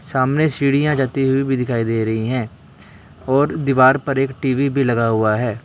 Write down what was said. सामने सीढ़ियां जाती हुई भी दिखाई दे रही हैं और दीवार पर एक टी_वी भी लगा हुआ है।